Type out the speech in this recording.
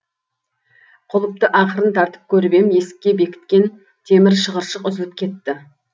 құлыпты ақырын тартып көріп ем есікке бекіткен темір шығыршық үзіліп кетті